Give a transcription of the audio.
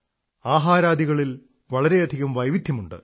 ആഹാരാദികളിൽ വളരെയധികം വൈവിധ്യമുണ്ട്